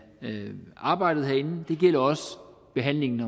arbejdet herinde det gælder også behandlingen